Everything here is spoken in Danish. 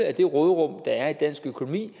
af det råderum der er i dansk økonomi